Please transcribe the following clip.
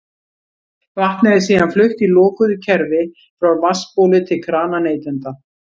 Vatnið er síðan flutt í lokuðu kerfi frá vatnsbóli til krana neytenda.